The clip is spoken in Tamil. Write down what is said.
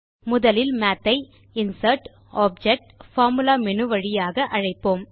முதலில் மாத் ஐ இன்சர்ட்க்டோப்ஜெக்ட்பார்பார்முலா மேனு வழியாக அழைப்போம்